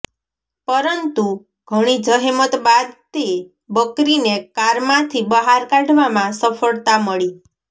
પરંતુ ઘણી જહેમત બાદ તે બકરીને કારમાંથી બહાર કાઢવામાં સફળતા મળી